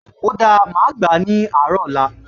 O dáa, màá gbà á ní àárọ̀ ọ̀la